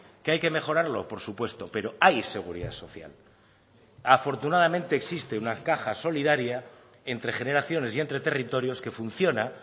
qué hay que mejorarlo por supuesto pero hay seguridad social afortunadamente existe una caja solidaria entre generaciones y entre territorios que funciona